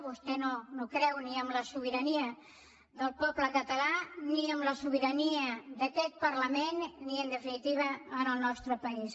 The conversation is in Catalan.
vostè no creu ni en la sobirania del poble català ni en la sobirania d’aquest parlament ni en definitiva en el nostre país